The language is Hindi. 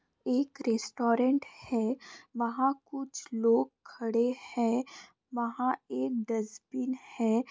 एक रेस्टरेंट है। वहां कुछ लोग खड़े हैं। वहां एक डस्पिन है।